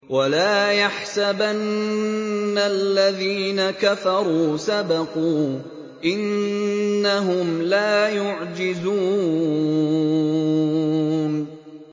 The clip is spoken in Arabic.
وَلَا يَحْسَبَنَّ الَّذِينَ كَفَرُوا سَبَقُوا ۚ إِنَّهُمْ لَا يُعْجِزُونَ